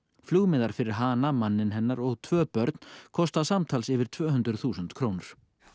flugmiðar fyrir hana manninn hennar og tvö börn kosta samtals yfir tvö hundruð þúsund krónur